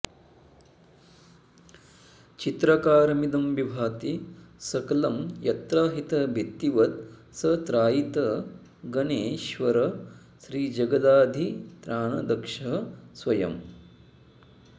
चित्राकारमिदं विभाति सकलं यत्राहित भित्तिवत् स त्रायीत गणेश्वरस्त्रिजगदाधित्राणदक्षः स्वयम्